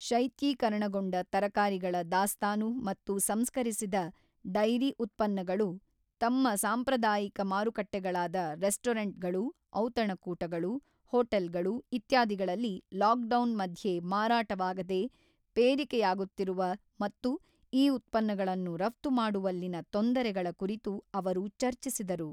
ಶೈತ್ಯೀಕರಣಗೊಂಡ ತರಕಾರಿಗಳ ದಾಸ್ತಾನು ಮತ್ತು ಸಂಸ್ಕರಿಸಿದ ಡೈರಿ ಉತ್ಪನ್ನಗಳು ತಮ್ಮ ಸಾಂಪ್ರದಾಯಿಕ ಮಾರುಕಟ್ಟೆಗಳಾದ ರೆಸ್ಟೋರೆಂಟ್ಗಳು, ಔತಣಕೂಟಗಳು, ಹೋಟೆಲ್ಗಳು ಇತ್ಯಾದಿಗಳಲ್ಲಿ ಲಾಕ್ಡೌನ್ ಮಧ್ಯೆ ಮಾರಾಟವಾಗದೇ ಪೇರಿಕೆಯಾಗುತ್ತಿರುವ ಮತ್ತು ಈ ಉತ್ಪನ್ನಗಳನ್ನು ರಫ್ತು ಮಾಡುವಲ್ಲಿನ ತೊಂದರೆಗಳ ಕುರಿತು ಅವರು ಚರ್ಚಿಸಿದರು.